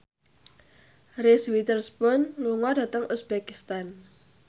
Reese Witherspoon lunga dhateng uzbekistan